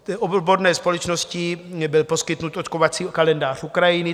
Od odborné společnosti byl poskytnut očkovací kalendář Ukrajiny.